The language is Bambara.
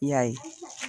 I y'a ye